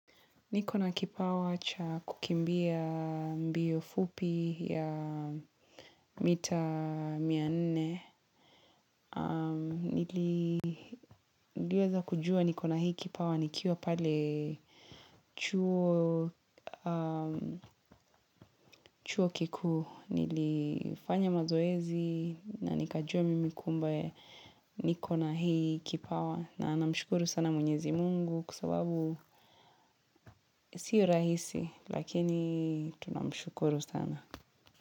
Niko na kipawa cha kukimbia mbio fupi ya mita mia nne. Niliweza kujua niko na hii kipawa nikiwa pale chuo kikuu. Nilifanya mazoezi na nikajua mimi kumbe niko na hii kipawa. Na namshukuru sana mwenyezi mungu kwa sababu siyo rahisi lakini tunamshukuru sana.